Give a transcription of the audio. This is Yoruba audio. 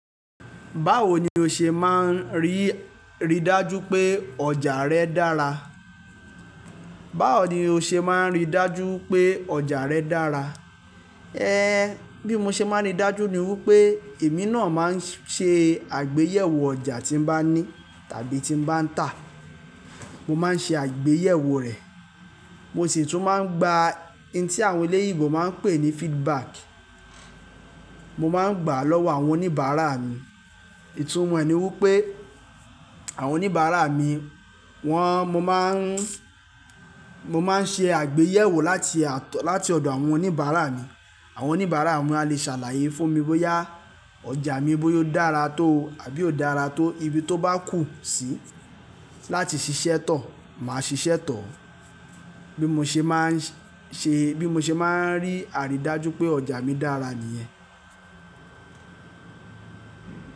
Báwo ni o ṣe máa ń rí, rí dájú pé ọjà rẹ dára? Báwo ni o ṣe máa ń rí dájú pé ọjà rẹ dára? Bí mo ṣe máa ń rí dájú ni wípé èmi náà máa ń ṣe àgbéyẹ̀wò ọjà tí mo bá ní tàbí tí mo bá ń tà. Mo máa ń ṣe àgbéyẹ̀wò rẹ̀. Mo sì tún máa ń gba in tí àwọn eléyìíbo máa ń pè ní feedback. Mo máa ń gbà á lọ́wọ́ àwọn oníbàárà mi. Ìtumọ̀ ẹni wípé àwọn oníbàárà mi, wọ́n, mo má ń, mo má ń ṣe àgbéyẹ̀wò láti, láti ọ̀dọ̀ àwọn oníbàárà mi. Àwọn oníbàárà mi a lè ṣàlàyé fún mi bóyá ọjà mi bóyá ó dára tó àbí ó dára tó. Ibi tó bá kù sí láti ṣiṣẹ́ tọ̀, màá ṣiṣẹ́ tọ̀. Bí mo ṣe máa ń ṣe, bí mo ṣe máa ń rí àrídájú pé ọjà mi dára nìyẹn.